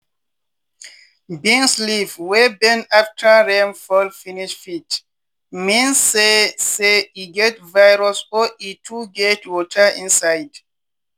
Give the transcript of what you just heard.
beans leave wey bend after rain fall finish fit meas say say e get virus or e too get water inside.